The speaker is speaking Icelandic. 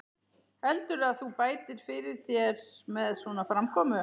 Heldurðu að þú bætir fyrir þér með svona framkomu?